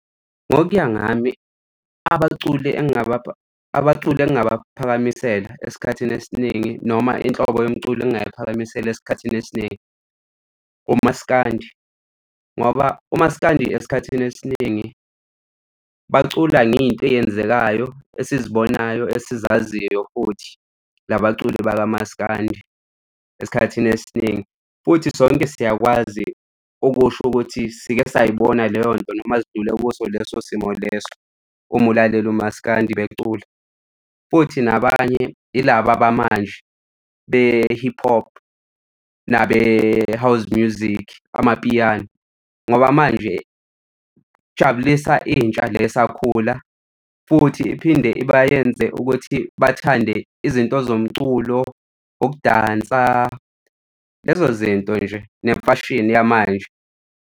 Ngokuya ngami abaculi abaculi engingabaphakamisela esikhathini esiningi noma inhlobo yomculo engingayiphakamisela esikhathini esiningi, umaskandi, ngoba umasikandi esikhathini esiningi bacula ngey'nto eyenzekayo esizibonayo esizaziyo futhi la baculi baka maskandi esikhathini esiningi. Futhi sonke siyakwazi okusho ukuthi sike say'bona leyo nto noma zidlule kuso leso simo leso. Uma ulalele umaskandi becula futhi nabanye ilaba abamanje be-hip hop nabe-house music, amapiano ngoba manje, jabulisa intsha le esakhula futhi iphinde ibayenze ukuthi bathande izinto zomculo, ukudansa lezo zinto nje nemfashini yamanje.